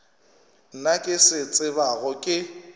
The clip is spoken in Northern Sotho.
nna ke se tsebago ke